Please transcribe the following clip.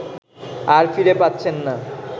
আর ফিরে পাচ্ছেন না